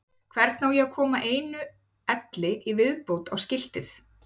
Hvernig á ég að koma einu elli í viðbót á skiltið?